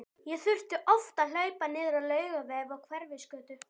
Ég þurfti oft að hlaupa niður á Laugaveg og Hverfisgötu.